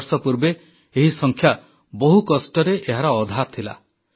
କିଛି ବର୍ଷ ପୂର୍ବେ ଏହି ସଂଖ୍ୟା ବହୁ କଷ୍ଟରେ ଏହାର ଅଧା ଥିଲା